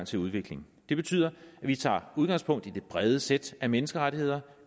til udvikling det betyder at vi tager udgangspunkt i det brede sæt af menneskerettigheder